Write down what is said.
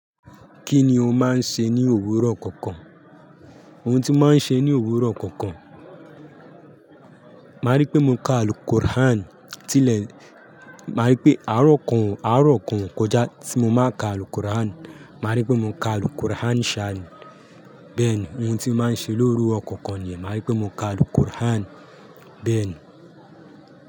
Kí ni o máa ń ṣe ní òwúrọ̀ kọ̀ọ̀kan? Ohun tí mo máa ń ṣe ní òwúrọ̀ kọ̀ọ̀kan, màá rí pé mo ka àlùkọ́ràn. Tí lè, màá rí pé àárọ̀ kan, àárọ̀ kan kọjá tí mo má ka àlùkọ́ràn, màá rí pé mo ka àlùkọ́ràn ṣán. Bẹ́ẹ̀ ni ohun tí mo máa ń ṣe lóru òkòkò ni, màá rí pé mo ka àlùkọ́ràn. Bẹ́ẹ̀ ni.